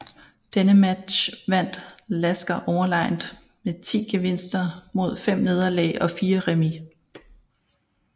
Denne match vandt Lasker overlegent med 10 gevinster mod 5 nederlag og 4 remis